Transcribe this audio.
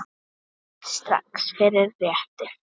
Núna strax- fyrir réttir.